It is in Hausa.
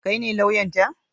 Kai ne lauyan ta?